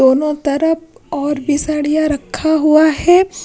दोनों तरफ और भी सड़िया रखा हुआ है।